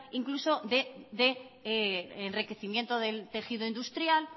incluso de enriquecimiento del tejido industrial